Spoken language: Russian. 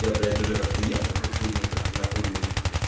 я блять уже как-то ел такую хуйню как-то накуренный